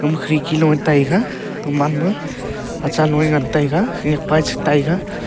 ama khirki loe taiga aman ma achaloe ngan taiga khenyak pae taiga.